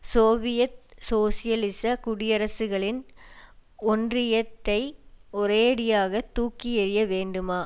Soviet சோசியலிச குடியரசுகளின் ஒன்றியத்தை ஒரேயடியாக தூக்கி எறிய வேண்டுமா